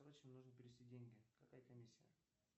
короче нужно перевести деньги какая комиссия